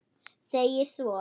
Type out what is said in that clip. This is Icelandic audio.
segir svo